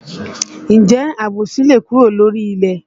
Ǹjẹ́ àbòsí le kúrò lórílẹ̀?